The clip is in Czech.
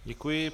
Děkuji.